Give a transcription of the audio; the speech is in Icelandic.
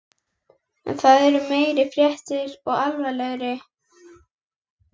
En það eru meiri fréttir og alvarlegri.